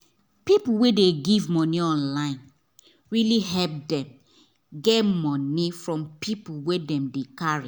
people wey dey give money online really help them get money from people wey dem dey carry